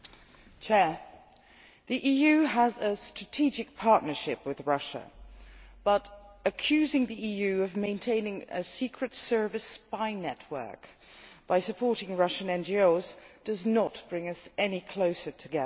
Mr President, the EU has a strategic partnership with Russia, but accusing the EU of maintaining a secret service spy network by supporting Russian NGOs does not bring us any closer together.